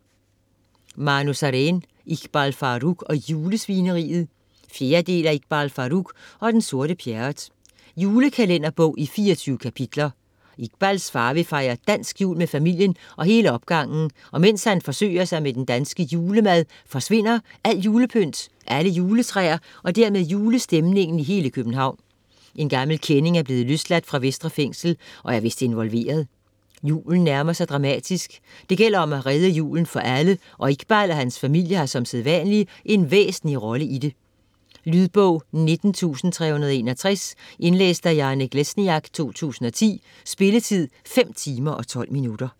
Sareen, Manu: Iqbal Farooq og julesvineriet 4. del af Iqbal Farooq og den sorte Pjerrot. Julekalenderbog i 24 kapitler. Iqbals far vil fejre dansk jul med familien og hele opgangen, og mens han forsøger sig med den danske julemad, forsvinder alt julepynt, alle juletræer og dermed julestemningen i hele København. En gammel kending er blevet løsladt fra Vestre Fængsel, og er vist involveret. Julen nærmer sig dramatisk. Det gælder nu om at redde julen for alle, og Iqbal og hans familie har som sædvanlig en væsentlig rolle i det. Lydbog 19361 Indlæst af Janek Lesniak, 2010. Spilletid: 5 timer, 12 minutter.